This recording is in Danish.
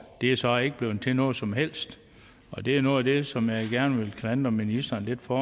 det er så ikke blevet til noget som helst og det er noget af det som jeg gerne vil klandre ministeren lidt for